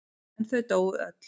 En þau dóu öll.